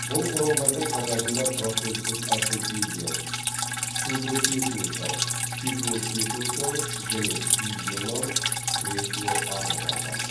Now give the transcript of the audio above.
бұл құралдардың қатарында протездік ортопедиялық сурдотехникалық тифлотехникалық және гигиеналық кресло арбалар бар